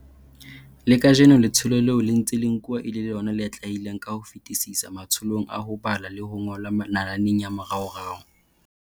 Le kajeno letsholo leo le ntse le nkuwa e le lona le atlehileng ka ho fetisisa matsholong a ho bala le ho ngola nalaneng ya moraorao.